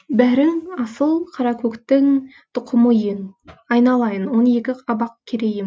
бәрің асыл қаракөктің тұқымы ең айналайын он екі абақ керейім